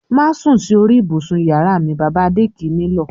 "Má sùn sí orí ibùsùn ìyàrá m!" Bàbá Adé kì í nílọ̀.